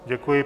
Děkuji.